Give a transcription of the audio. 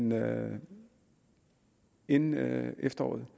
noget inden efteråret